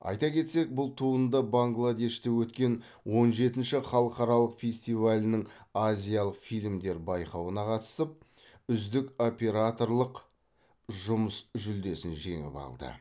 айта кетсек бұл туынды бангладеште өткен он жетінші халықаралық фестивалінің азиялық фильмдер байқауына қатысып үздік операторлық жұмыс жүлдесін жеңіп алды